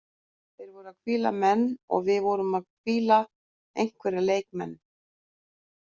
Þeir voru að hvíla menn og við vorum að hvíla einhverja leikmenn.